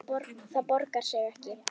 Það borgar sig ekki